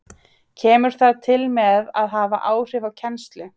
Kemur það til með að hafa áhrif á kennslu?